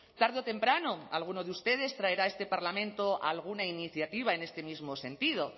tarde o temprano alguno de ustedes traerá a este parlamento alguna iniciativa en este mismo sentido